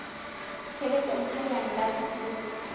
tshebetsong ha leano la puo